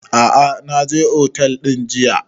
A'a na je otel ɗin jiya